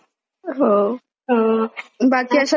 बाकी अशात कोणता पिक्चर पाहायला का तुम्ही नवीन?